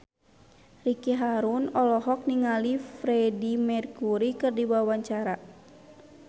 Ricky Harun olohok ningali Freedie Mercury keur diwawancara